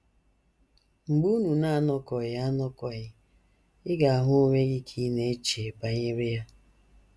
Mgbe unu na - anọkọghị anọkọghị, ị ga - ahụ onwe gị ka ị na - eche banyere ya.